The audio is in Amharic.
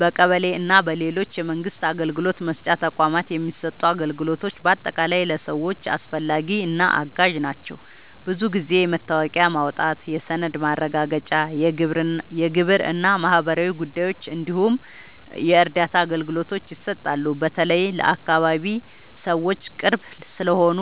በቀበሌ እና በሌሎች የመንግስት አገልግሎት መስጫ ተቋማት የሚሰጡ አገልግሎቶች በአጠቃላይ ለሰዎች አስፈላጊ እና አጋዥ ናቸው። ብዙ ጊዜ የመታወቂያ ማውጣት፣ የሰነድ ማረጋገጫ፣ የግብር እና ማህበራዊ ጉዳዮች እንዲሁም የእርዳታ አገልግሎቶች ይሰጣሉ። በተለይ ለአካባቢ ሰዎች ቅርብ ስለሆኑ